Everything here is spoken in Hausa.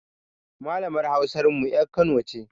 Malamar Hausar mu ƴar Kano ce.